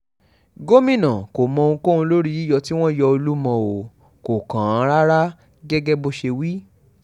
gomina kò mọ ohunkóhun lórí yíyọ tí wọ́n yọ olúmọ o kò kàn án rárá gẹ́gẹ́ bó ṣe wí